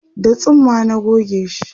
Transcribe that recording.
da tsumma na gogeshi